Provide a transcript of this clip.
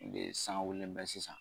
De sanga wuli bɛ sisan.